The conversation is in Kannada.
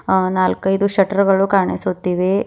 ಆ ನಾಲ್ಕೈದು ಶಟ್ಟರ್ ಗಳು ಕಾಣಿಸುತ್ತಿವೆ.